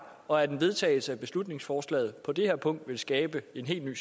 og at en vedtagelse af beslutningsforslaget på det her punkt ville skabe en helt ny